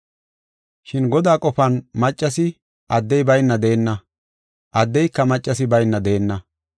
Shin Godaa qofan maccasi addey bayna deenna; addeyka maccasi bayna deenna.